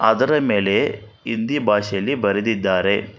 ಅದರ ಮೇಲೆ ಹಿಂದಿ ಭಾಷೆಯಲ್ಲಿ ಬರೆದಿದ್ದಾರೆ.